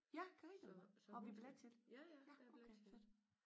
Ja Karina har vi billet til det? Ja okay fedt